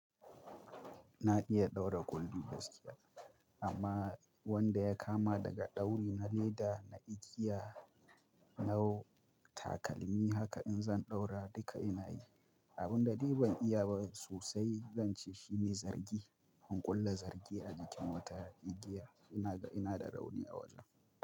Na iya ɗaura kullu gaskiya, amma wanda ya kama daga ɗauri na leda na igiya. Na takalmi haka in zan ɗaura duka ina yi. Abun da ni ban iya ba sosai zan ce shine zangi. In ƙulla zargi a jikin wata igiya ina da, ina da rauni a wajen.